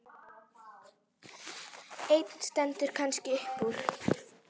Ein stendur kannski upp úr.